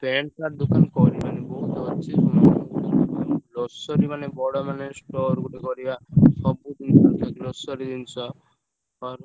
pant shirt ଦୋକାନ କରିବାନି ବହୁତ୍ ଅଛି। ଉଁ grocery ମାନେ ବଡ ମାନେ store ଗୋଟେ କରିବା ସବୁ ଜିନିଷ grocery ଜିନିଷ ।